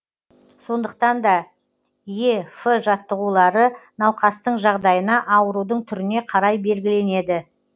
сондықтан да е ф жаттығулары науқастың жағдайына аурудың түріне қарай белгіленеді